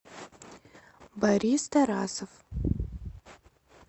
борис тарасов